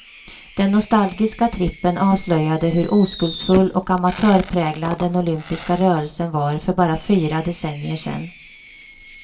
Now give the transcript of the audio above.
Den nostalgiska trippen avslöjade hur oskuldsfull och amatörpräglad den olympiska rörelsen var för bara fyra decennier sedan.